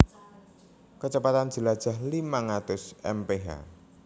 Kecepatan jelajah limang atus mph